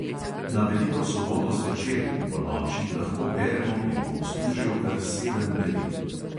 Na veliko soboto zvečer in ponoči lahko beremo pri bogoslužju kar sedem beril.